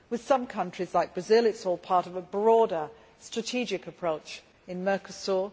With some countries, like Brazil, it is all part of a broader strategic approach in Mercosur.